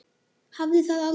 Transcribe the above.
Hafði það aldrei.